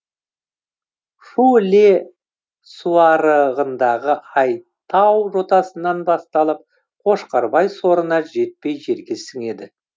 шу іле суайрығындағы айтау жотасынан басталып қошқарбай сорына жетпей жерге сіңеді